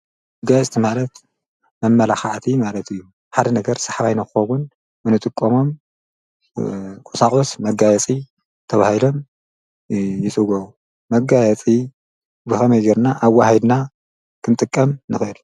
ብጋይስቲ ማለት መመላኻዓቲ ማለት እዩ ሓደ ነገር ሰሕባይንኾዉን ምንጥቆሞም ቊሳቝስ መጋየፂ ተብሂለም ይሥጐ መጋየቲ ብኸመይገይርና ኣብዋሂድና ኽንጥቀም ንጌል